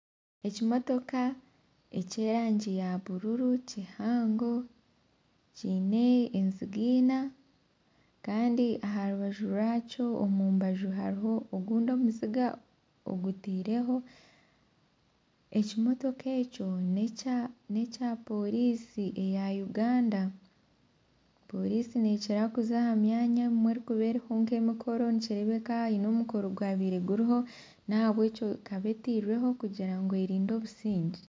Ekimotoka eky'erangi ya bururu kihango kyine enziga ina Kandi aha rubaju rwakyo omu mbaju hariho ogundi omuziga ogutireho. Ekimotoka ekyo nekya porisi eya Uganda . Porisi nekira kuza ahamyanya obumwe erikuba eriho emikoro nikirebeka aha hiine omukoro gwabire guriho nahabwekyo ekaba etirweho kugira ngu erinde obusingye.